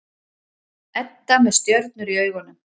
Edda með stjörnur í augunum.